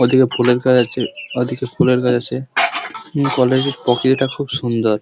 ওদিকে ফুলের গাছ আছে ওদিকে ফুলের গাছ আছে কলেজের প্রকৃতি টা খুব সুন্দর ।